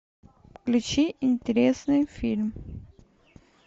включи интересный фильм